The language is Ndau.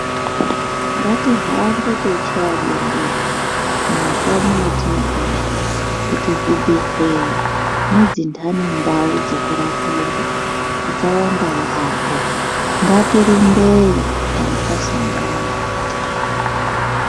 Ngatihambe teichaya bembera mumakanyi matinogara kuti zvibhedhlera nedzinhani ndau dzekurapirwa dzawanda yaamho ngatirumbeyo kana tasangana nematenda.